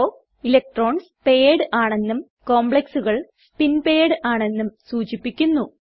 low electrons paired ആണെന്നും complexകൾ spin paired ആണെന്നും സൂചിപ്പിക്കുന്നു